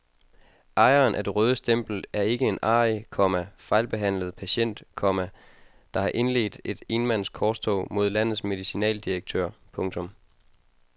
Ejeren af det røde stempel er ikke en arrig, komma fejlbehandlet patient, komma der har indledt et enmands korstog mod landets medicinaldirektør. punktum